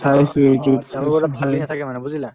তেওঁলোকৰ তাত নাথাকে মানে বুজিলা